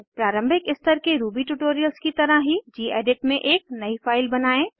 प्रारंभिक स्तर के रूबी ट्यूटोरियल की तरह ही गेडिट में एक नयी फाइल बनायें